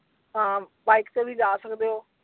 ਹਾਂ bike ਤੇ ਵੀ ਜਾ ਸਕਦੇ ਓ।